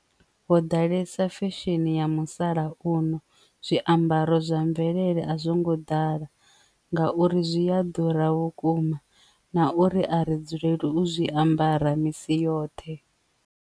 Ho ḓalesa fesheni ya musalauno zwiambaro zwa mvelele a zwo ngo ḓala ngauri zwi a ḓura vhukuma na uri a ri dzulele u zwiambara misi yoṱhe.